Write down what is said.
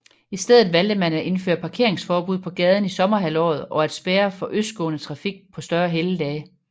I stedet valgte man at indføre parkeringsforbud på gaden i sommerhalvåret og at spærre for østgående trafik på større helligdage